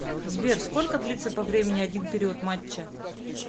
сбер сколько длится по времени один период матча